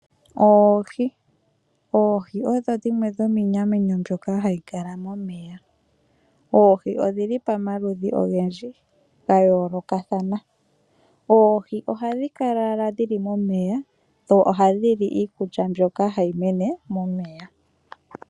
Oohi, oohi odho dhimwe dhominamwenyo mbyoka hayi adhika momeya. Oohi odhili pamaludhi ogendji gayoolokathana. Oohi ohadhi kala dhili momeya dho ohadhi li iikulya mbyoka hayi mene momeya.